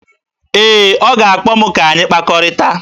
Ee, ọ ga-akpọ m ka anyị kpakọrịta